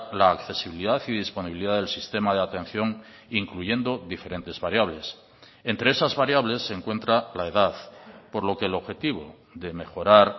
la accesibilidad y disponibilidad del sistema de atención incluyendo diferentes variables entre esas variables se encuentra la edad por lo que el objetivo de mejorar